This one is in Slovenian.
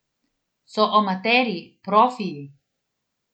So amaterji, profiji?